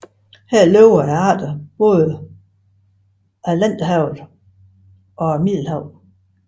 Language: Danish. Her lever arter fra både Atlanterhavet og Middelhavet